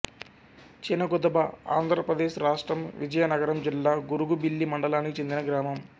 చినగుదబఆంధ్ర ప్రదేశ్ రాష్ట్రం విజయనగరం జిల్లా గరుగుబిల్లి మండలానికి చెందిన గ్రామం